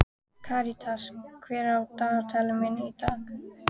Karitas, hvað er í dagatalinu mínu í dag?